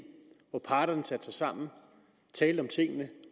hvor parterne satte sig sammen talte om tingene